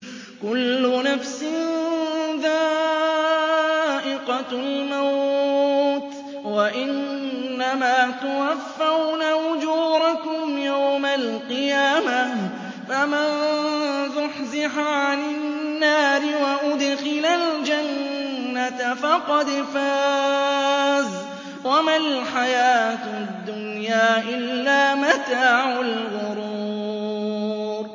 كُلُّ نَفْسٍ ذَائِقَةُ الْمَوْتِ ۗ وَإِنَّمَا تُوَفَّوْنَ أُجُورَكُمْ يَوْمَ الْقِيَامَةِ ۖ فَمَن زُحْزِحَ عَنِ النَّارِ وَأُدْخِلَ الْجَنَّةَ فَقَدْ فَازَ ۗ وَمَا الْحَيَاةُ الدُّنْيَا إِلَّا مَتَاعُ الْغُرُورِ